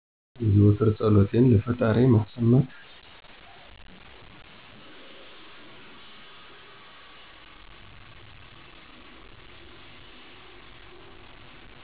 የዘወትር ፀሎቴን ለፈጣሪዬ ማሰማት